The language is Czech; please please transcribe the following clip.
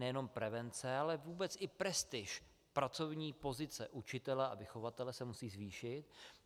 Nejenom prevence, ale vůbec i prestiž, pracovní pozice učitele a vychovatele se musí zvýšit.